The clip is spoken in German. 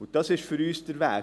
Für uns ist dies der Weg: